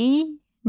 İynə.